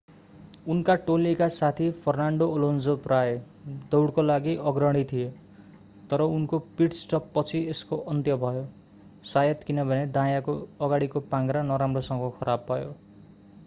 उनका टोलीका साथी फर्नान्डो एलोन्सो प्रायः दौडको लागि अग्रणी थिए तर उनको पिट-स्टप पछि यसको अन्त्य भयो शायद किनभने दायाँको अगाडिको पाङ्ग्रा नराम्रोसँग खराब भयो